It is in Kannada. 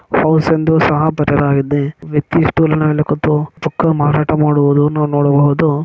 ಹೌಸ್ ಎಂದು ಸಹ ಬರೆಲಾಗಿದೆ ವ್ಯಕ್ತಿ ಸ್ಟೂಲ್ ಮೇಲೆ ಕೂತುಕೊಂಡು ಬುಕ್ ಮಾರಾಟ ಮಾಡುವುದನ್ನು ನಾವು ನೋಡಬಹುದು --